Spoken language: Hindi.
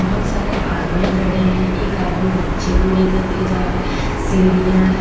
बहुत सारे आदमी खड़े हैं एक आदमी बच्चे को लेकर के जा रहा है सीढ़ियां है।